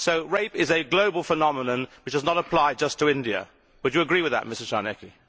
Rape is a global phenomenon which does not apply just to India. Would you agree with that, Mr Czarnecki?